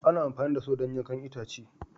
Ana amfani da Saw don yankan itace